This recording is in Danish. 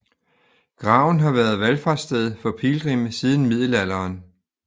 Graven har været valfartssted for pilgrimme siden middelalderen